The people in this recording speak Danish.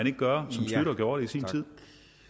ikke gøre som schlüter gjorde det i sin tid